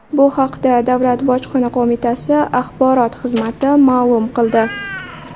Bu haqda Davlat bojxona qo‘mitasi axborot xizmati ma’lum qildi .